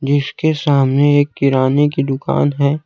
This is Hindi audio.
जिसके सामने एक किराने की दुकान है।